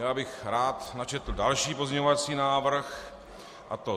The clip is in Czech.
Já bych rád načetl další pozměňovací návrh, a to: